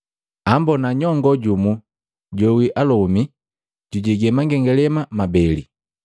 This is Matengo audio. Ambona nyongoo jumu joawi alomi jujege mangengalema mabeli.